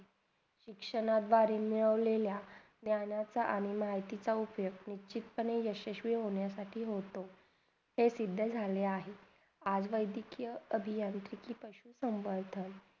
शिक्षण जयानं मिळवल्याला ज्ञानीचा आणि माहितीचा उपयोग निष्चित पणे यशशवी होण्यासाठी होतो ते सिद्धा झाले आहेत